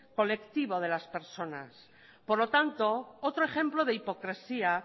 colectivo de las personas por lo tanto otro ejemplo de hipocresía